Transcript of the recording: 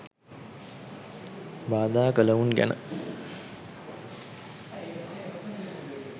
බාධා කළවුන් ගැන